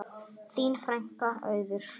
Þín frænka, Auður.